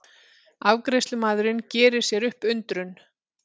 Afgreiðslumaðurinn gerir sér upp undrun.